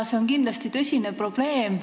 See on kindlasti tõsine probleem.